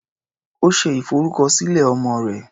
Ó ṣe ìfọrúkọsílẹ̀ ọmọ rẹ̀.